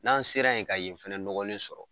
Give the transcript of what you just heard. N'an sera yen ka yen fɛnɛ nɔgɔlen sɔrɔ